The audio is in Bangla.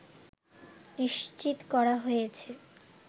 নিশ্চিত করা হয়েছে